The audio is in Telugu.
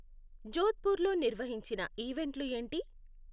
జోద్పూర్లో నిర్వహించిన ఈవెంట్లు ఏంటి